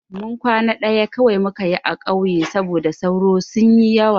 Kwana ɗaya kawai muka yi a ƙauye saboda sauro sun yi yawa.